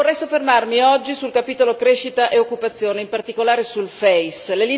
Però vorrei soffermarmi oggi sul capitolo della crescita e dell'occupazione, in particolare sul FEIS.